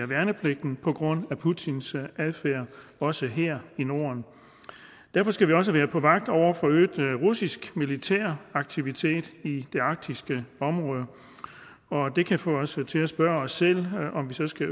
værnepligten på grund af putins adfærd også her i norden derfor skal vi også være på vagt over for øget russisk militær aktivitet i det arktiske område og det kan få os til at spørge os selv om vi så skal